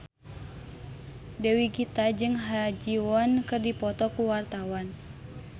Dewi Gita jeung Ha Ji Won keur dipoto ku wartawan